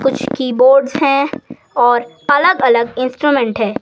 कुछ कीबोर्ड्स हैं और अलग-अलग इंस्ट्रूमेंट हैं।